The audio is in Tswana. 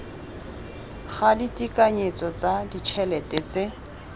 ga ditekanyetso tsa ditšhelete tse